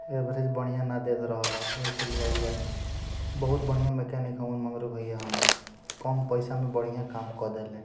Average बढ़िया ने देत रहले यही से लेल आइल बानी बहुत बढ़िया मैकेनिक मगरू भैया हमर कम पैसा में बढ़िया काम कर देनी।